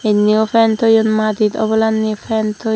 indiyo fen toyon madit obolandi fen toi.